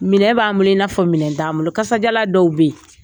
Minɛ b'an bolo, i n'a fɔ minɛ t'an bolo. Kasadiyalan dɔw be yen